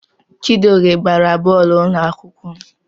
Chijioke gbara bọọlụ n'ụlọ akwụkwọ m.